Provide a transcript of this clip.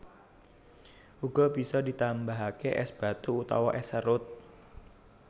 Uga bisa ditambahake es batu utawa es serut